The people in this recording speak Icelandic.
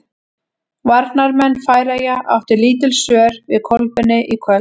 Varnarmenn Færeyja áttu lítil svör við Kolbeini í kvöld.